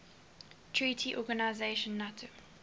treaty organization nato